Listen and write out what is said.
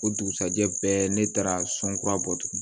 O dugusɛjɛ bɛɛ ne taara sɔn kura bɔ tugun